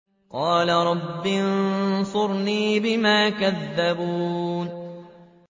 قَالَ رَبِّ انصُرْنِي بِمَا كَذَّبُونِ